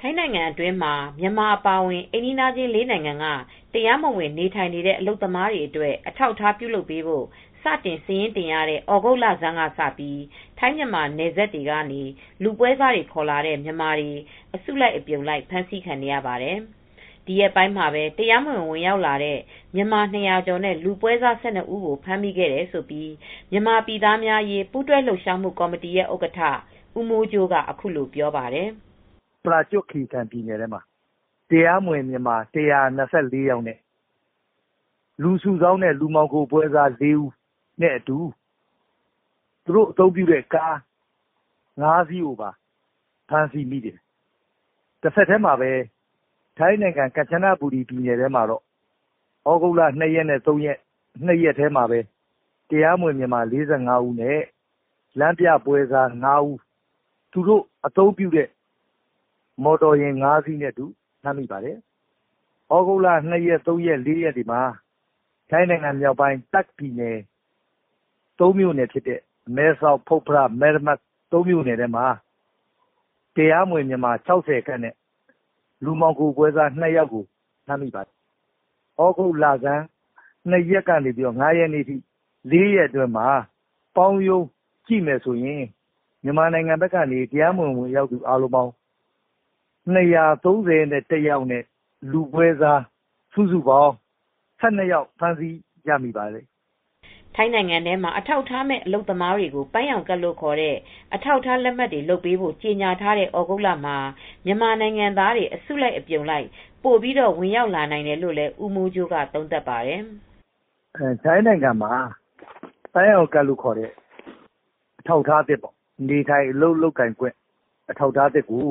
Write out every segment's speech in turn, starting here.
ထိုင်းနိုင်ငံအတွင်းမှာ မြန်မာ အပါအဝင် အိမ်နီးချင်း၄နိုင်ငံက တရားမဝင် နေထိုင်နေတဲ့ အလုပ်သမားတွေ အတွက် အထောက်အထားပြုလုပ်ပေးဖို့စတင်စာရင်းတင်ရတဲ့ သြဂုတ်လဆန်းကစပြီး ထိုင်းမြန်မာနယ်စပ်တွေက နေလူပွဲစားတွေ ခေါ်လာတဲ့ မြန်မာတွေ အစုလိုက် အပြုံလိုက် ဖမ်းဆီးခံနေရပါတယ်။ ဒီရက်ပိုင်းမှာပဲ တရားမဝင် ဝင်ရောက်လာတဲ့ မြန်မာ၂ဝဝကျော် နဲ့ လူပွဲစား၁၂ဦးကို ဖမ်းမိခဲ့တယ်လို့ မြန်မာပြည်သားများ အရေး ပူးတွဲလှုပ်ရှားမူ့ကော်မတီရဲ့ ဥက္ကဌဦးမိုးကြိုးကအခုလိုပြောပါတယ် ။ "ပရာကျွတ် ခီရီကန်ပြည်နယ်ထဲမှာ တရားမဝင် မြန်မာ၁၂၄ယောက်နဲ့ လူစုဆောင်းတဲ့ လူပွဲစား၄ဦးနဲ့အတူ သူတို့ အသုံးပြုတဲ့ ကား၅စီးကိုဖမ်းမိပါတယ်။ အလားတူ ကမ်ချနဘူရီပြည်နယ်ထဲမှာတော့ သြဂုတ်လ ၂ရက်နေ့နဲ့ ၃ရက်နေ့တွေမှာပဲ တရားမဝင် မြန်မာ၄၅ဦးနဲ့ လမ်းပြပွဲစား၅ဦး သူတို့အသုံးပြုတဲ့ကား ၅စီးနဲ့ ဖမ်းမိပါတယ်။အလားတူ သြဂုတ်လ ၂ရက် ၃ရက်နဲ့ ၄ရက်တွေမှာ ထိုင်းနိုင်ငံ မြောက်ပိုင်း တာ့ခ်ပြည်နယ် မဲဆောက် ၊ မယ်ရမတ်၊ ဖွတ်ဖရ မြို့နယ်ထဲမှာ တရားမဝင် မြန်မာ၆ဝခန့် နဲ့ လူမှောင်ခိုပွဲစား ၂ယောက်ကို ဖမ်းမိပါတယ်။ သြဂုတ်လဆန်း၂ရက်နေ့က ၄ရက်အတွင်းမှာ မြန်မာနိုင်ငံသား၂၃၁ယောက်နဲ့ လူပွဲစား၁၂ယောက်ကို ဖမ်းမိပါတယ် " ထိုင်းနိုင်ငံမှာ အထောက်အထားမဲ့ အလုပ်သမားတွေကို ပန်းရောင်ကဒ် လို့ ခေါ်တဲ့ အထောက်အထားလက်မှတ်တွေ လုပ်ပေးဖို့ ကြေညာထားတဲ့ သြဂုတ်လမှာ မြန်မာနိုင်ငံသားတွေ အစုလိုက် အပြုံလိုက် ပိုပြီးဝင်ရောက်လာနိုင်တယ်လို့လည်း ဦးမိုးကြိုးက သုံးသပ်ပါတယ်။ "ထိုင်းနိုင်ငံမှာ ပန်းရောင်ကဒ်လို့ ခေါ်တဲ့ နေထိုင်အလုပ်အကိုင်ခွင့် အထောက်အထားတွေကို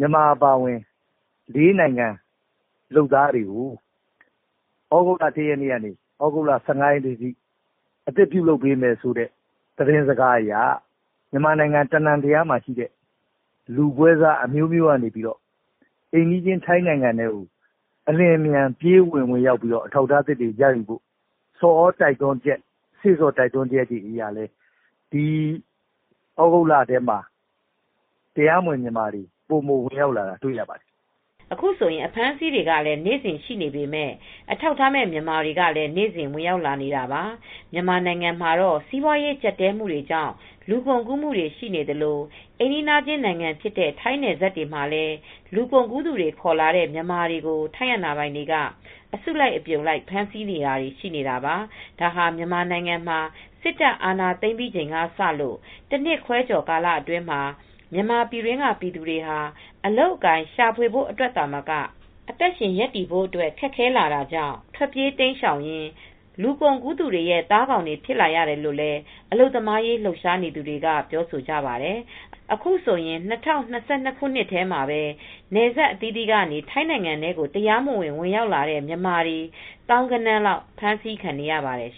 မြန်မာအပါအဝင် ၄နိုင်ငံ လုပ်သားတွေကို သြဂုတ်လ ၁ရက်နေ့က သြဂုတ်လ ၁၅ရက်နေ့အထိ အသစ်ပြုလုပ်ပေးမယ်ဆိုတဲ့ သတင်းစကားအရ မြန်မာနိုင်ငံအနှံ့က လူပွဲစားတွေက အိမ်နီးချင်း ထိုင်းနိုင်ငံထဲကို အထောက်အထားရယူဖို့ စေ့ဆော် တိုက်တွန်းချက်တွေအရ သြဂုတ်လအတွင်းမှာ တရားမဝင် မြန်မာတွေ ပိုပြီးဝင်ရောက်လာတာကို တွေ့ရပါတယ်" အခုဆိုရင် အဖမ်းအဆီးတွေကလည်း နေ့စဉ်ရှိနေပေမယ့် အထောက်အထားမဲ့ မြန်မာတွေကလည်း နေ့စဉ်ဝင်ရောက်နေပါတယ် ။ မြန်မာနိုင်ငံမှာတော့ စီးပွားရေးကြပ်တည်းမူတွေကြောင့် လူကုန်ကူးမူတွေရှိနေသလို အိမ်နီးနားချင်း နိုင်ငံဖြစ်တဲ့ ထိုင်းနယ်စပ်တွေမှာလည်း လူကုန်ကူးသူတွေ ခေါ်လာတဲ့ မြန်မာတွေကို ထိုင်းအာဏာပိုင်တွေက အစုလိုက်အပြုံလိုက် ဖမ်းဆီးတာတွေ ရှိနေပါတယ် ။ ဒါဟာ မြန်မာနိုင်ငံမှာ စစ်တပ်အာဏာသိမ်းပြီးချိန်ကစလို့ တနှစ်ခွဲကျော်အတွင်းမှာ မြန်မာပြည်တွင်းက ပြည်သူတွေဟာ အလုပ်အကိုင်ရှာဖွေဖို့ အတွက်သာမက အသက်ရှင်ရပ်တည်ဖို့အတွက် ခက်ခဲလာတာကြောင့် ထွက်ပြေးတိမ်းရှောင်ရင်း လူကုန်ကူးသူတွေရဲ့ သားကောင်တွေဖြစ်လာရတယ်လို့လည်း အလုပ်သမားရေးလှုပ်ရှားသူတွေက ပြောဆိုကြပါတယ် ။အခုဆိုရင်၂ဝ၂၂ခုနှစ်ထဲမှာပဲ နယ်စပ်အသီးသီးကနေ ထိုင်းနိုင်ငံထဲကို တရားမဝင် ဝင်ရောက်လာကြတဲ့ မြန်မာတွေ သောင်းဂဏန်းလောက် အဖမ်းအဆီး ခံရနေရပါတယ်။